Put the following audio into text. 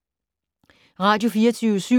Radio24syv